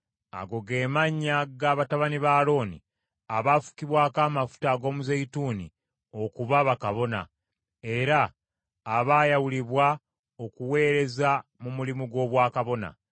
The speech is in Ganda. Ago ge mannya ga batabani ba Alooni, abaafukibwako amafuta ag’omuzeeyituuni okuba bakabona, era abaayawulibwa okuweereza mu mulimu gw’obwakabona.